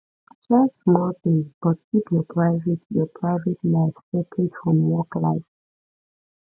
share small things but keep your private your private life separate from work life